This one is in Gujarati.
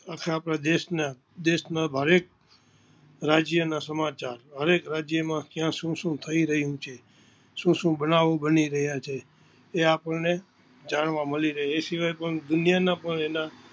આખા આપના દેસ ના દેસ ના હરેક રાજ્ય ના સમાચાર હરેક રાજ્ય માં ત્યાં શું શું થઈ રહિયું છે, શું શું બનાવ બની રહિયા છે, તે આપનને જાણવા મળી રહે છે, એ શિવાય પણ દુનિયા ના પણ એના.